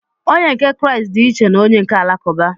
Onye nke Kraịst dị iche na onye nke Alakụba.